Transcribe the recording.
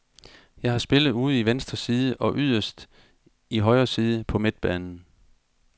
Jeg har spillet ude i venstre side og yderst i højre side på midtbanen.